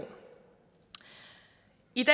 ikke